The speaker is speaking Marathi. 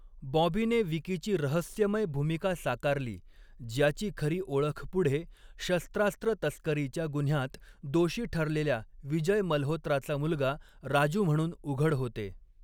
बॉबीने 'विकी'ची रहस्यमय भूमिका साकारली, ज्याची खरी ओळख पुढे, शस्त्रास्त्र तस्करीच्या गुन्ह्यात दोषी ठरलेल्या विजय मल्होत्राचा मुलगा 'राजू' म्हणून उघड होते.